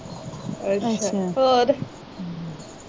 ਅੱਛਾ ਹੋਰ?